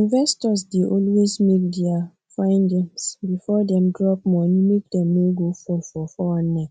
investors dey always make their findings before dem drop money make dem no go fall for 419